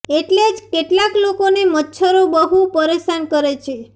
એટલે જ કેટલાક લોકોને મચ્છરો બહુ પરેશાન કરે છે